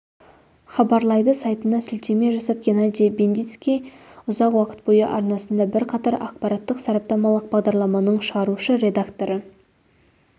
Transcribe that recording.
хабарлайды сайтына сілтеме жасап геннадий бендицкий ұзақ уақыт бойы арнасында бірқатар ақпараттық-сараптамалық бағдарламаның шығарушы редакторы